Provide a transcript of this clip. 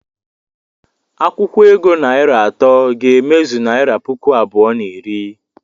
Akwụkwo ego naịra atọ ga-emezu naịra puku abụọ na iri.